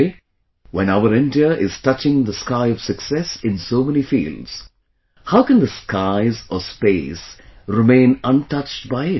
Today, when our India is touching the sky of success in so many fields, how can the skies, or space, remain untouched by it